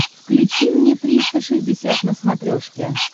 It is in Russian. включи мне триста шестьдесят на смотрешке